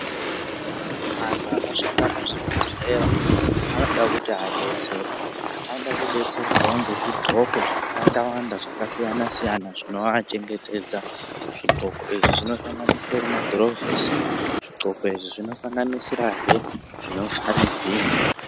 Antu anoshanda muzvibhedhlera anoda kuti adetserwe , vanoda kuti vadetserwe ngezvixoko zvakawanda wanda zvakasiyana siyana zvinovachengetedza. Zvixoko izvi zvinosanganisira magurovosi. Zvigcoko izvi zvinosanganisira zvinovhare mhino.